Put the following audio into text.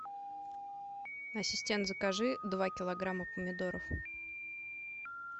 ассистент закажи два килограмма помидоров